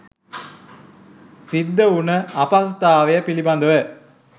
සිද්ධ වුන අපහසුතාවය පිළිබඳව.